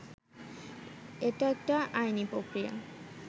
এটা একটা আইনি প্রক্রিয়া